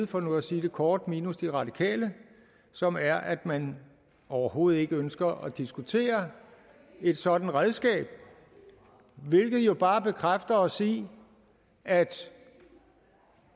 for nu at sige det kort minus de radikale og som er at man overhovedet ikke ønsker at diskutere et sådant redskab hvilket jo bare bekræfter os i at